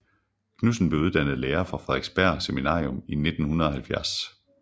Knudsen blev uddannet lærer fra Frederiksberg Seminarium i 1970